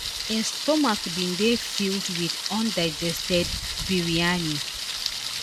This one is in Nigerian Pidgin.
Hin stomach bin dey filled wit undigested biryani